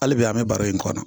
Hali bi an bɛ baro in kɔnɔ